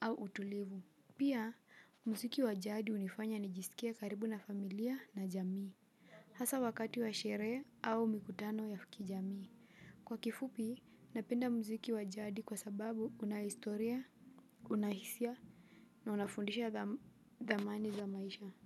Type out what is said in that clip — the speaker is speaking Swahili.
au utulivu. Pia, mziki wa jadi hunifanya nijisikie karibu na familia na jamii. Hasa wakati wa sherehe au mikutano ya kijamii. Kwa kifupi, napenda mziki wa jadi kwa sababu una historia, una hisia, na unafundisha thamani za maisha.